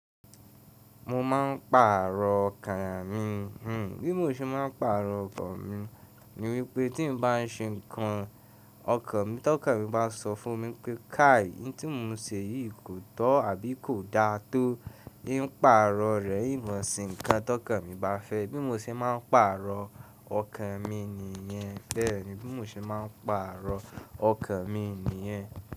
Mo má n pàrọ̀ ọkàn mi. Hmm bí mo ṣe má n pàrọ̀ ọkọ mi ni wípé tí n bá n ṣe nǹkan ọkàn mi tọ́kàn mi bá sọ fún mi pé kà í n tí mo n se yìí kò tọ́ àbí kò dáa tó, ín pàrọ̀ rẹ̀ ìn mo n se ǹkan tọ́kàn mi bá fẹ́. Bí mo se má n pàrọ̀ ọkàn mi nìyẹn. Bẹ́ẹ̀ni bí mo ṣe má n pàrọ̀ ọkàn mi nìyẹn.